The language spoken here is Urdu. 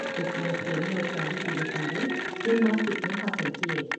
اس نے سونے اور چاندی کے یہ تمغے جمناسٹک میں حاصل کئے ۔